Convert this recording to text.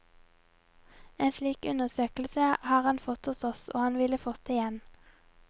En slik undersøkelse har han fått hos oss, og han ville fått det igjen.